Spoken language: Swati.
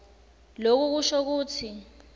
loku kusho kutsi